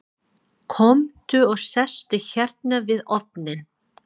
Komdu og sestu hérna við ofninn.